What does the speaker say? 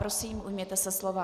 Prosím, ujměte se slova.